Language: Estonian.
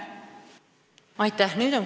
Aitäh!